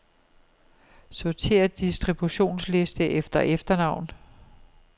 Sortér distributionsliste efter efternavn.